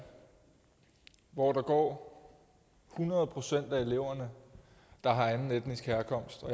hvor hundrede procent af eleverne har anden etnisk herkomst og